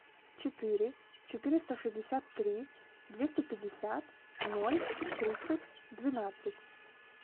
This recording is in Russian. четыре четыреста шестьдесят три двести пятьдесят ноль тридцать двенадцать